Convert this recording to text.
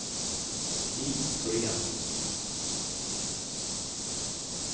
Stig Thorén